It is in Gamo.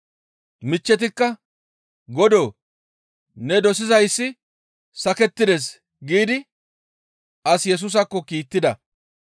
Michchetikka, «Godoo! Ne dosizayssi sakettides» giidi as Yesusaakko kiittida.